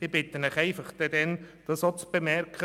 Ich bitte Sie, diesen Überlegungen Rechnung zu tragen.